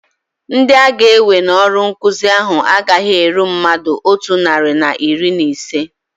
Ndị aga-ewe n'ọrụ nkụzi ahu agaghị eru mmadụ otu narị na iri na ise